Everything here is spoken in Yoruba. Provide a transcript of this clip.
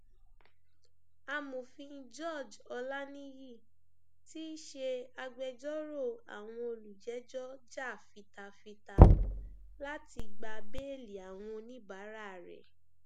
amòfin george olaniyi tí í ṣe agbẹjọrò àwọn olùjẹjọ jà fitafita láti gba béèlì àwọn oníbàárà rẹ